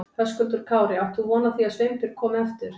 Höskuldur Kári: Átt þú von á því að Sveinbjörg komi aftur?